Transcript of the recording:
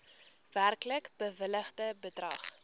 werklik bewilligde bedrag